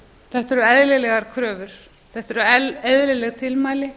þetta eru eðlilegar kröfur þetta eru eðlileg tilmæli